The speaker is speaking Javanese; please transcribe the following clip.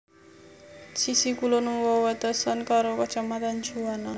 Sisih kulon wewatesan karo Kacamatan Juwana